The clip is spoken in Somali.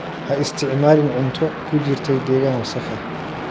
Ha isticmaalin cunto ku jirtay deegaan wasakh ah.